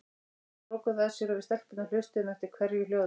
Þau lokuðu að sér og við stelpurnar hlustuðum eftir hverju hljóði.